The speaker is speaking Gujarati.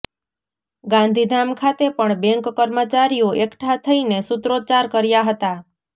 ગાંધીધામ ખાતે પણ બેન્ક કર્મચારીઓ એકઠા થઈને સૂત્રોચ્ચાર કર્યા હતા